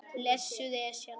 Blessuð Esjan.